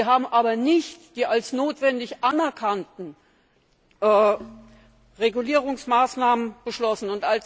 Sie haben aber nicht die als notwendig anerkannten Regulierungsmaßnahmen beschlossen.